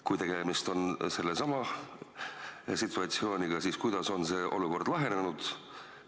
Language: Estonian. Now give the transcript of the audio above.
Kui tegemist on sellesama situatsiooniga, siis kuidas on see olukord lahenenud?